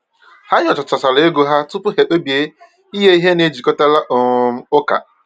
Ha nyochachara ego ha tupu ha kpebie inye ihe na-ejikọtara um ụka.